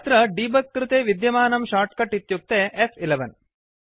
अत्र देबुग कृते विद्यामानं शार्ट्कट् इत्युक्ते फ्11